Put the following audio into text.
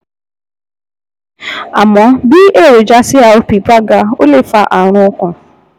Àmọ́, bí èròjà CRP bá ga, ó lè fa ààrùn ọkàn